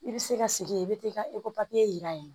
I bɛ se ka sigi ye i bɛ taa i ka ekɔli jira yen